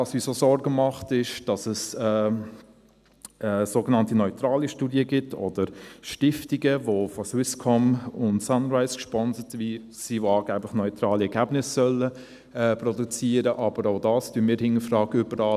Was uns auch Sorgen macht, ist, dass es sogenannte neutrale Studien gibt, oder Stiftungen, die von Swisscom und Sunrise gesponsert sind und angeblich neutrale Ergebnisse produzieren sollen, aber auch dies hinterfragen wir.